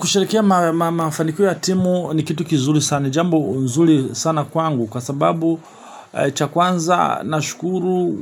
Kusherehekea mafanikio ya timu ni kitu kizuri sana jambo zuri sana kwangu kwa sababu cha kwanza nashukuru